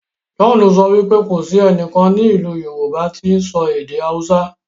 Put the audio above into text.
John sọ wípé kò sí ẹnìkan ní ilú yorùbá ti sọ èdè hausa.